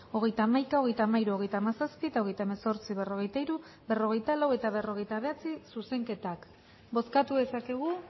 hogeita hamaika hogeita hamairu hogeita hamazazpi eta hogeita hemezortzi berrogeita hiru berrogeita lau eta berrogeita bederatzi zuzenketak bozkatu dezakegu